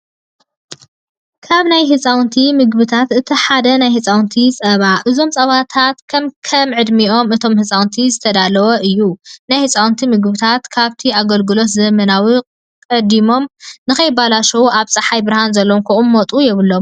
ካብ ናይ ህፃውንቲ ምግብታት እቲ ሓደ ናይ ህፃውንቲ ፀባ እዩ። እዞም ፀባታት ከክም ዕድመ እቶም ህፃንቲ ዝተዳለወ እዩ። ናይ ህፃውንቲ ምግብታት ካብቲ ኣገልግሎት ዘበኖም ቀዲሞም ንከይበላሸው ኣብ ፀሓይ ብርሃን ዘለዎም ክቅመጡ የብሎምን።